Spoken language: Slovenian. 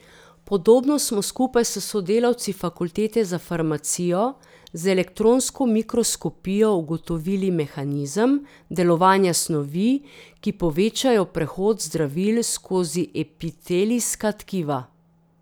Podobno smo skupaj s sodelavci fakultete za farmacijo z elektronsko mikroskopijo ugotovili mehanizem delovanja snovi, ki povečajo prehod zdravil skozi epitelijska tkiva.